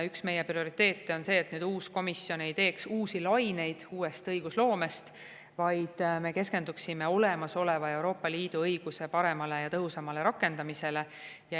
Üks meie prioriteete on see, et uus komisjon ei tekitaks õigusloome uusi laineid, vaid me keskenduksime olemasoleva Euroopa Liidu õiguse paremale ja tõhusamale rakendamisele.